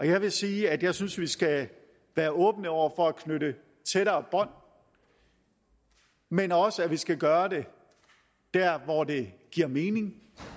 jeg vil sige at jeg synes vi skal være åbne over for at knytte tættere bånd men også at vi skal gøre det der hvor det giver mening